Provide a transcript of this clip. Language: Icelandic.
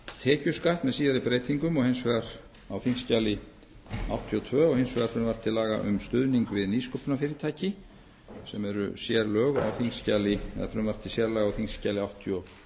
tekjuskatt með síðari breytingum á þingskjali áttatíu og tvö og hins vegar um stuðning við nýsköpunarfyrirtæki sem er frumvarp til sérlaga á þingskjali áttatíu og